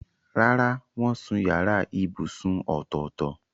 Rárá, wọ́n sun yàrá ibùsùn ọ̀tọ̀ọ̀tọ̀.